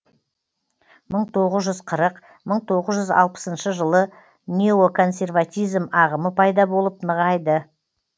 мың тоғыз жүз қырық мың тоғыз жүз алпысыншы жылы неоконсерватизм ағымы пайда болып нығайды